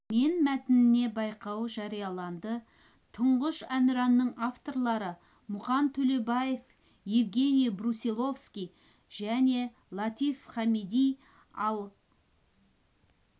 мен мәтініне байқау жарияланды тұңғыш әнұранның авторлары мұқан төлебаев евгений брусиловский мен латиф хамиди ал